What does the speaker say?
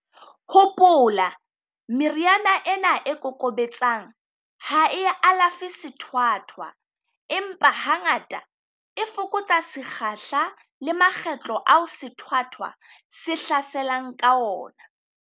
Hopola, meriana ena e kokobetsang ha e alafe sethwathwa, empa hangata, e fokotsa sekgahla le makgetlo ao sethwathwa se hlaselang ka ona.